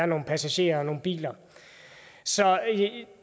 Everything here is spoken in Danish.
nogle passagerer og nogle biler så